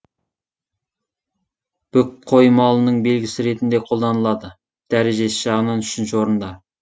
бүк қой малының белгісі ретінде қолданылады дәрежесі жағынан үшінші орында